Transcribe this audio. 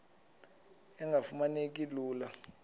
engafuma neki lula